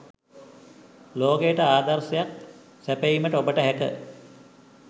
ලෝකයට ආදර්ශයක් සැපයීමට ඔබට හැක